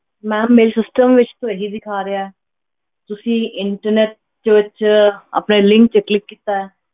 Ma'am ਮੇਰੇ system ਵਿੱਚ ਤਾਂ ਇਹ ਹੀ ਦਿਖਾ ਰਿਹਾ ਹੈ, ਤੁਸੀਂ internet ਦੇ ਵਿੱਚ ਆਪਣੇ link ਤੇ click ਕੀਤਾ ਹੈ।